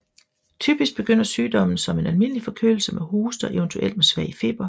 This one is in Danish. Typisk begynder sygdommen som en almindelig forkølelse med hoste og eventuelt med svag feber